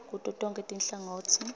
kuto tonkhe tinhlangotsi